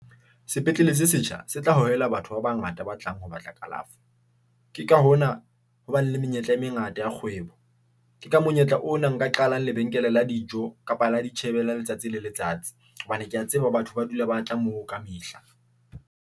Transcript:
Sepetlele se setjha se tla hohela batho ba bangata ba tlang ho batla kalafo. Ke ka hona hobane le menyetla e mengata ya kgwebo. Ke ka monyetla ona nka qala lebenkele la dijo kapa lo itjhebela letsatsi le letsatsi hobane ke a tseba batho ba dula ba tla mo ka mehla.